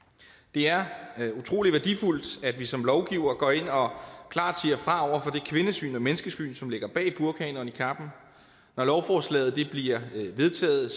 det er utrolig værdifuldt at vi som lovgivere går ind og klart siger fra kvindesyn og menneskesyn som ligger bag burkaen og niqabben når lovforslaget bliver vedtaget